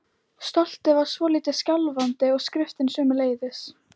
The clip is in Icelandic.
Stoltið var svolítið skjálfandi og skriftin sömuleiðis.